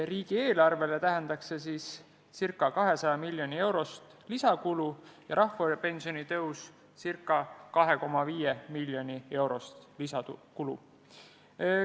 Riigieelarvele tähendaks see ca 200 miljoni eurost lisakulu ja rahvapensioni tõus ca 2,5 miljoni eurost lisakulu.